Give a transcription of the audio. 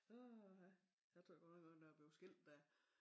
Åha jeg tror godt nok også da jeg blev skilt der